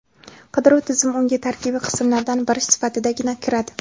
Qidiruv tizimi unga tarkibiy qismlardan biri sifatidagina kiradi.